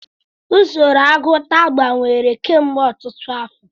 Usoro agụta gbanwere kemgbe ọtụtụ afọ.